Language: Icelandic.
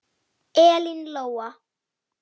Elín Lóa.